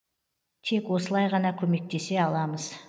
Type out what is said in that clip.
тек осылай ғана көмектесе аламыз